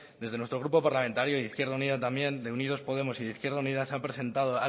desde nuestro grupo parlamentario y en izquierda unida también de unidos podemos y de izquierda unida se ha presentado